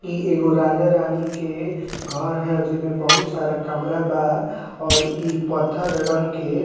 इ एगो राजा-रानी के अअ घर हे जेमे बहुत सारा कमरा बा और इ पत्थर रंग के --